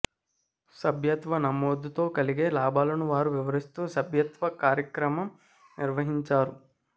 సభ్యత్వ నమోదుతో కలిగే లాభాలను వారు వివరిస్తూ సభ్యత్వ కార్యక్రమం నిర్వహించారు